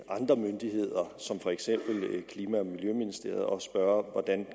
andre myndigheder som for eksempel klima og miljøministeriet og spørge hvordan